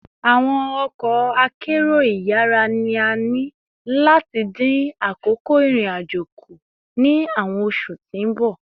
Awọn ọkọ akero iyara ni a ni lati din akoko irin-ajo ku ni awọn oṣu ti n bọ